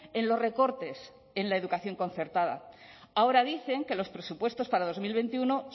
en los recortes en la educación concertada ahora dicen que los presupuestos para dos mil veintiuno